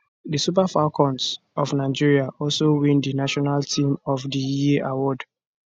di super falcons of nigeria also win di national team of di year award